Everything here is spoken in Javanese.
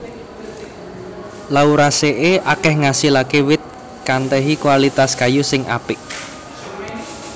Lauraceae akèh ngasilaké wit kantèhi kualitas kayu sing apik